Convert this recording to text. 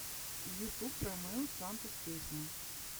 ютуб ромео сантос песня